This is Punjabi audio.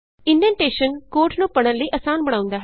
ਇਨਡੈਨਟੇਸ਼ਨ ਕੋਡ ਨੂੰ ਪੜ੍ਹਨ ਲਈ ਅਸਾਨ ਬਣਾਉਂਦਾ ਹੈ